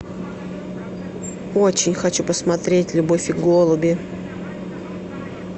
очень хочу посмотреть любовь и голуби